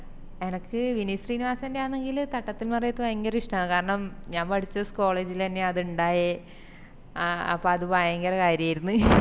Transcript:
എനക്ക് വിനീത് ശ്രീനിവാസന്റെ ആന്നെങ്കില് തട്ടത്തിൻ മറയത്ത് ഭയങ്കര ഇഷ്ട്ട കാരണം ഞാൻ പഠിച്ച സ് college ല് തന്നെയാ അത്ണ്ടായേ ആ അപ്പൊ അത് ഭയങ്കര കര്യാര്ന്ന്